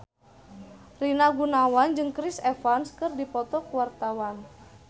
Rina Gunawan jeung Chris Evans keur dipoto ku wartawan